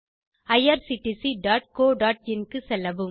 httpwwwirctccoin க்கு செல்லவும்